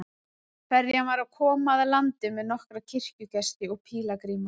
Ferjan var að koma að landi með nokkra kirkjugesti og pílagríma.